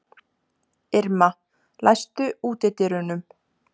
Irma, læstu útidyrunum.